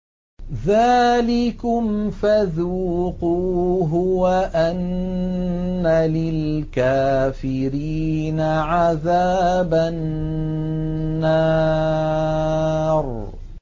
ذَٰلِكُمْ فَذُوقُوهُ وَأَنَّ لِلْكَافِرِينَ عَذَابَ النَّارِ